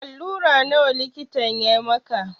Alura nawa likitan ya maka?